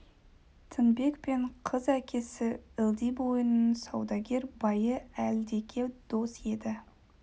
тінбек пен қыз әкесі ылди бойының саудагер байы әлдеке дос еді